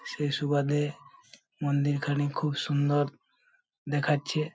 সে সুবাদে মন্দির খানি খুব সুন্দর দেখাচ্ছে।